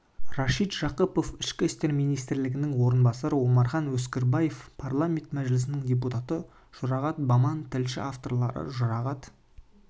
рашид жақыпов ішкі істер министрінің орынбасары омархан өксікбаев парламенті мәжілісінің депутаты жұрағат баман тілші авторлары жұрағат